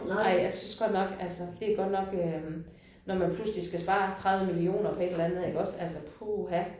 Ej jeg synes godt nok altså det godt nok øh når man pludselig skal spare 30 millioner på et eller andet iggås altså puha